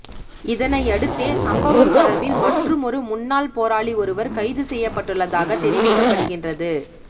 இதனையடுத்தே சம்பவம் தொடர்பில் மற்றுமொரு முன்னாள் போராளி ஒருவர் கைது செய்யப்பட்டுள்ளதாக தெரிவிக்கப்படுகின்றது